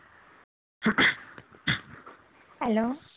hello